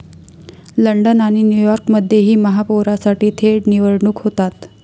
London आणि न्यूयॉर्कमध्येही महापौरासाठी थेट निवडणूक होते.